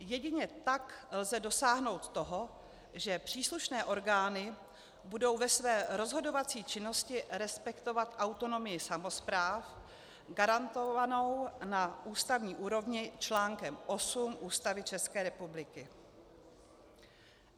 Jedině tak lze dosáhnout toho, že příslušné orgány budou ve své rozhodovací činnosti respektovat autonomii samospráv garantovanou na ústavní úrovni článkem 8 Ústavy České republiky.